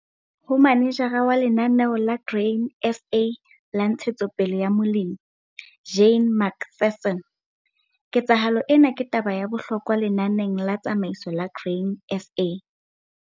Ho manejara wa Lenaneo la Grain SA la Ntshetsopele ya Molemi, Jane McPherson, ketsahalo ena ke taba ya bohlokwa lenaneng la tsamaiso la Grain SA.